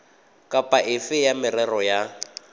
kapa efe ya merero ya